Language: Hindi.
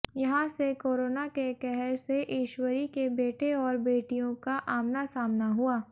यहां से कोरोना के कहर से ईश्वरी के बेटे और बेटियों का आमना सामना हुआ